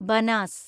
Banas